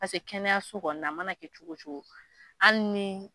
Paseke kɛnɛyaso kɔni na a mana kɛ cogo o cogo hali ni